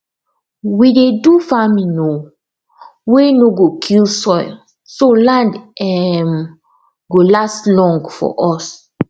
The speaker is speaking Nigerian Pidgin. we dey do farming um wey no go kill soil so land um go last long for us